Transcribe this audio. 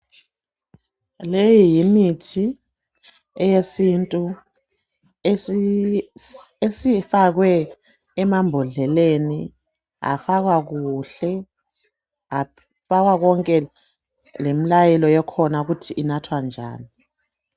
Leyi yimithi eyesintu esifakwe emambodleleni afakwa kuhle afakwa kwonke lemlayelo ekhona ukuthi inathwa njani.